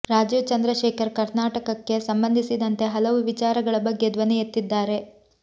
ರಾಜೀವ್ ಚಂದ್ರಶೇಖರ್ ಕರ್ನಾಟಕಕ್ಕೆ ಸಂಬಂಧಿಸಿದಂತೆ ಹಲವು ವಿಚಾರಗಳ ಬಗ್ಗೆ ಧ್ವನಿ ಎತ್ತಿದ್ದಾರೆ